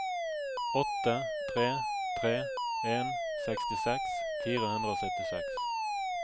åtte tre tre en sekstiseks fire hundre og syttiseks